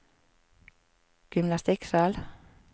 gymnastikksal